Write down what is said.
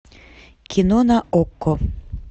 кино на окко